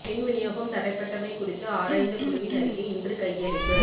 மின் விநியோகம் தடைப்பட்டமை குறித்து ஆராய்ந்த குழுவின் அறிக்கை இன்று கையளிப்பு